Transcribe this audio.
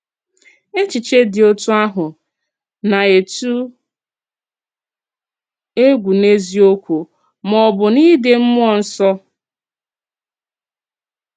Èchìchè dị̀ òtú àhụ̀ na-ètù ègwù n’eziòkwù, mà ọ̀ bụ́ n’Ídè Mmúọ Nsọ́?